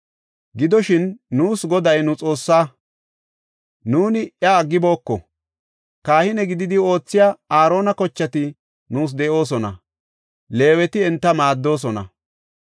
“Gidoshin, nuus Goday nu Xoossaa; nuuni iya aggibooko. Kahine gididi oothiya Aarona kochati nuus de7oosona; Leeweti enta maaddoosona.